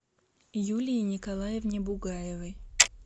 юлии николаевне бугаевой